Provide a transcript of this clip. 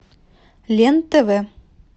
лен тв